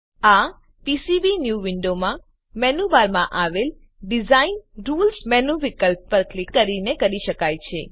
આ પીસીબીન્યૂ વિન્ડોનાં મેનુ બારમાં આવેલ ડિઝાઇન રુલ્સ મેનુ વિકલ્પ પર ક્લિક કરીને કરી શકાય છે